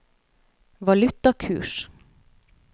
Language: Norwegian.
valutakurs